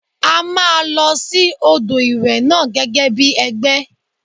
A máa lọ sí odò ìwẹ̀ náà gẹ́gẹ́ bí ẹgbẹ́.